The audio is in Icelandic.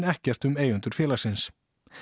ekkert um eigendur félagsins